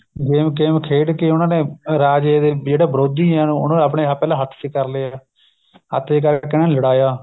game game ਖੇਡ ਕੇ ਉਹਨਾ ਨੇ ਰਾਜੇ ਦੇ ਜਿਹੜਾ ਵਿਰੋਧੀ ਏ ਉਹਨਾ ਨੇ ਆਪਣੇ ਪਹਿਲਾਂ ਹੱਥ ਚ ਕ਼ਰ ਲਿਆ ਹੱਥ ਚ ਕ਼ਰਕੇ ਉਹਨਾ ਨੂੰ ਲੜਾਇਆ